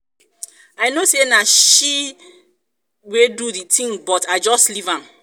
i know say na she wey do the thing but i just leave am